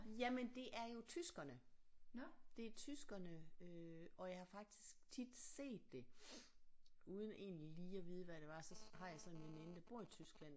Jamen det er jo tyskerne det er tyskerne øh og jeg har faktisk tit set det uden egentlig lige at vide hvad der var så har jeg så en veninde der bor i Tyskland